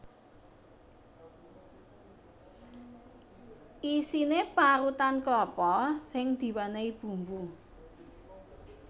Isiné parutan klapa sing diwènèhi bumbu